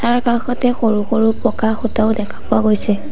তাৰ কাষতে সৰু-সৰু পকা খুঁটাও দেখা পোৱা গৈছে।